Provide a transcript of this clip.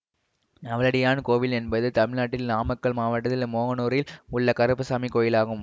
நவலடியான் கோவில் என்பது தமிழ்நாட்டில் நாமக்கல் மாவட்டத்தில் மோகனூரில் உள்ள கருப்புசாமி கோயிலாகும்